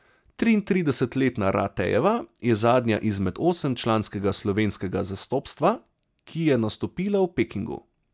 Triintridesetletna Ratejeva je zadnja izmed osemčlanskega slovenskega zastopstva, ki je nastopila v Pekingu.